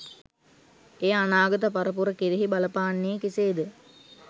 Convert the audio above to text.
එය අනාගත පරපුර කෙරෙහි බලපාන්නේ කෙසේද